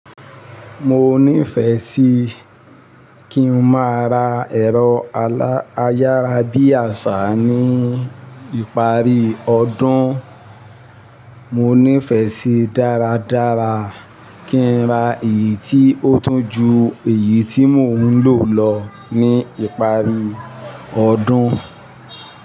Mo ní ìfẹ́ sí kí n máa ra ẹ̀rọ ayárabíàṣá ní ìparí ọdún. Mo ní ìfẹ́ sí dáradára kí n ra èyí tí ó tún ju èyí tí mò ń lò lọ ní ìparí ọdún.